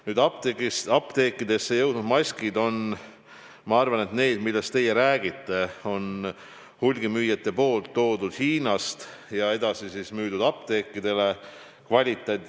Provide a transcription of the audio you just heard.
Nüüdseks apteekidesse jõudnud maskid on – need, millest teie ilmselt räägite – hulgimüüjad toonud Hiinast ja müünud edasi apteekidele.